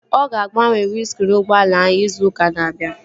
Ọ ga-agbanwe windskriin ụgbọala ahụ izu ụka na-abịa